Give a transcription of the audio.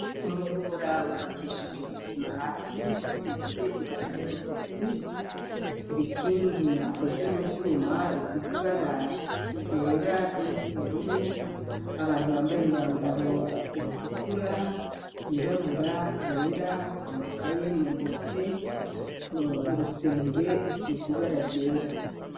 Umuhora wubakishijwe isima hasi isize ibara ry'umutuku, ibikingi bikozwe mu vyuma bisize ibara ryera n'iry'ubururu ,abantu bambaye imyambaro itukura ,yirabura, yera, amakaye mu ntoke ,urusenge rusize ibara ryera.